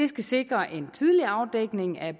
skal sikre en tidlig afdækning af